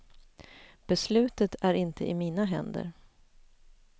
Beslutet är inte i mina händer.